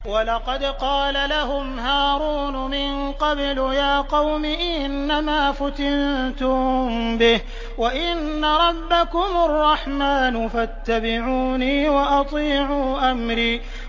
وَلَقَدْ قَالَ لَهُمْ هَارُونُ مِن قَبْلُ يَا قَوْمِ إِنَّمَا فُتِنتُم بِهِ ۖ وَإِنَّ رَبَّكُمُ الرَّحْمَٰنُ فَاتَّبِعُونِي وَأَطِيعُوا أَمْرِي